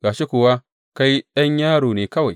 Ga shi kuwa kai ɗan yaro ne kawai.